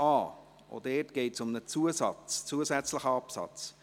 Auch dort geht es um einen zusätzlichen Absatz.